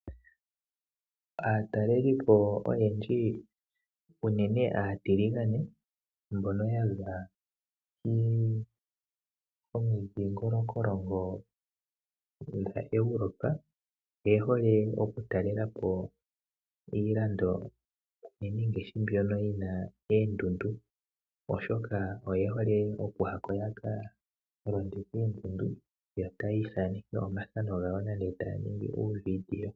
Aatalelipo oyendji unene aatiligane mbono yaza komindhingolokolongo dha Europe , oye hole okutalelapo iilando unene mbyoka yina oondundu , oshoka oye hole okuyako yakalonde koondundu , yo taya ithaneke omafano gawo.